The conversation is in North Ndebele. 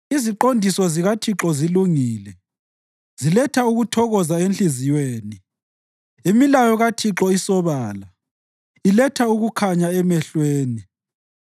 Iziqondiso zikaThixo zilungile, ziletha ukuthokoza enhliziyweni. Imilayo kaThixo isobala, iletha ukukhanya emehlweni.